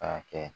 K'a kɛ